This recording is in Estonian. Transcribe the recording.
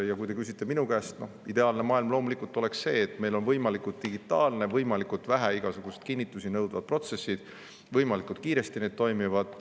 Ja kui te küsite minu käest, siis ideaalne maailm loomulikult oleks see, kus meil on võimalikult digitaalsed, võimalikult vähe igasuguseid kinnitusi nõudvad protsessid, mis toimivad kiiresti.